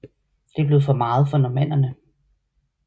Det blev for meget for normannerne